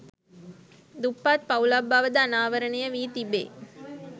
දුප්පත් පවුලක් බවද අනාවරණය වී තිබේ